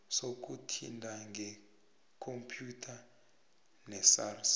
sokuthintana ngekhompyutha nesars